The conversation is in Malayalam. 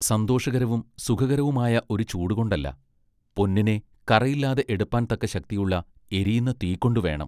സന്തോഷകരവും സുഖകരവുമായ ഒരു ചൂടുകൊണ്ടല്ല. പൊന്നിനെ കറയില്ലാതെ എടുപ്പാൻ തക്ക ശക്തിയുള്ള എരിയുന്ന തീകൊണ്ട് വേണം.